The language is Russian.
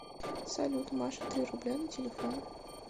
салют маша три рубля на телефон